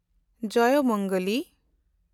ᱡᱚᱭᱚᱢᱚᱝᱜᱚᱞᱤ